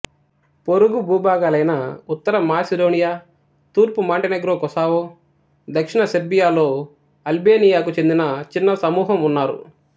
పొరుగు భూభాగాలైన ఉత్తర మాసిడోనియా తూర్పు మాంటెనెగ్రో కొసావో దక్షిణ సెర్బియాలో అల్బేనియాకు చెందిన చిన్న సమూహం ఉన్నారు